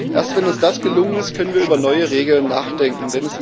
Erst wenn uns das gelungen ist, können wir über neue Regeln nachdenken.